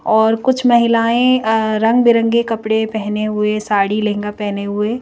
और कुछ महिलाएं रंगबिरंगे कपड़े पहने हुए साड़ी लहंगा पहने हुए--